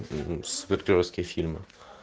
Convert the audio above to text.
супергеройские фильмы